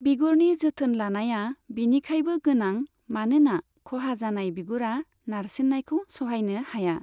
बिगुरनि जोथोन लानाया बिनिखायबो गोनां, मानोना खहा जानाय बिगुरआ नारसिननायखौ सहायनो हाया।